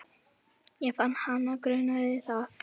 Ég fann að hana grunaði það.